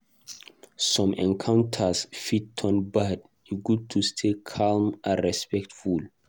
Some encounters fit turn bad; e good to stay calm and respectful.